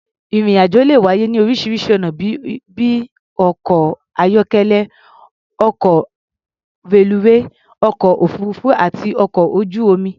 Ìrìn-àjò le wáyé ní oríṣiŕṣi ọ̀nà bí i ọkọ̀-ayọ́kélẹ́, ọkọ̀, reluwé, ọkọ̀-òfuururú àti ọkọ̀ ojú-omi.